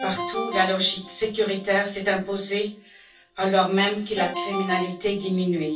Partout, la logique sécuritaire s'est imposée, alors même que la criminalité diminuait.